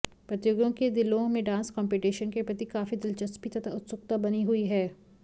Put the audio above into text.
प्रतियोगियों के दिलों में डांस कंपीटीशन के प्रति काफी दिलचस्पी तथा उत्सुकता बनी हुई है